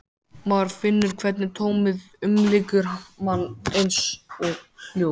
Maður finnur hvernig tómið umlykur mann, eins og hljóð.